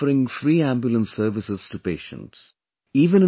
Someone is offering free ambulance services to patients